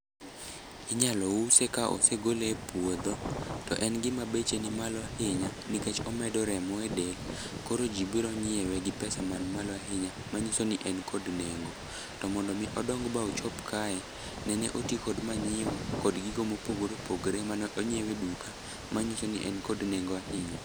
Inyalo use ka osegole e puodho to en gima beche ni malo ahinya nikech omedo remo e del koro ji biro nyiewe gi pesa man malo ahinya manyiso ni en kod nengo. To mondo omi odong ba ochop kae, nene oti kod manyiwa kod gigo mopogore opogore mane onyiew e duka manyiso ni en kod nengo ahinya.